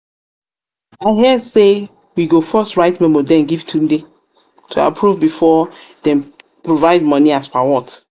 hear say we go first write memo den give yetunde to approve before dem provide money as per what?